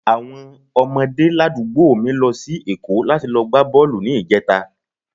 Àwọn ọmọdé ládùúgbò mi lọ sí Èkó láti lọ gbá bọ́ọ̀lù ní ìjẹta